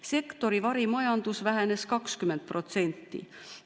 Sektori varimajandus vähenes 20%.